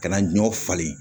Ka na ɲɔ falen